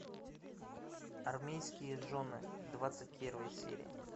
армейские жены двадцать первая серия